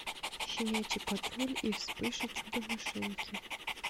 щенячий патруль и вспыш и чудо машинки